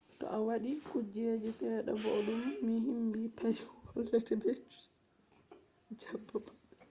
to a waɗi kuje seɗɗa bo0d0dum ni himɓe paris holle te ɓe ɗo jaɓɓa ma